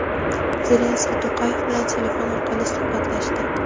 Zelenskiy To‘qayev bilan telefon orqali suhbatlashdi.